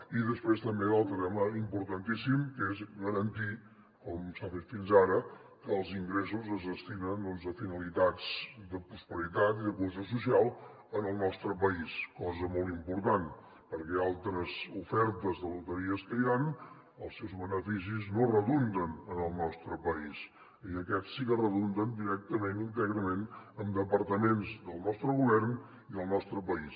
i després també un altre tema importantíssim que és garantir com s’ha fet fins ara que els ingressos es destinen doncs a finalitats de prosperitat i de cohesió social en el nostre país cosa molt important perquè en altres ofertes de loteries que hi han els seus beneficis no redunden en el nostre país i aquests sí que redunden directament íntegrament en departaments del nostre govern i del nostre país